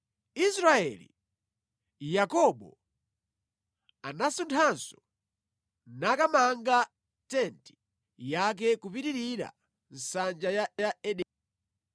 Israeli (Yakobo) anasunthanso nakamanga tenti yake kupitirira nsanja ya Ederi.